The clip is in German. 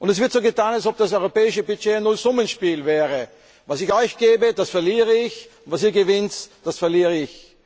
Es wird so getan, als ob das europäische Budget ein Nullsummenspiel wäre, was ich euch gebe, das verliere ich, und war ihr gewinnt, das verliere ich.